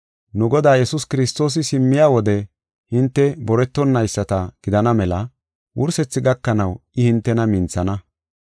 Nu Godaa Yesuus Kiristoosi simmiya wode hinte boretonayisata gidana mela wursethi gakanaw I hintena minthana.